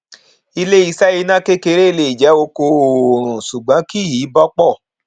ilé iṣẹ iná kékeré lè jẹ oko oòrùn ṣùgbọn kì í bọpọ